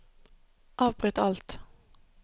avbryt alt